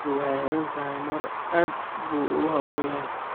Gabadhu waxay xidhan tahay maro, aad buu ugu habboon yahay.